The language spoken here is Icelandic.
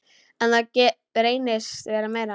En það reynist vera meira.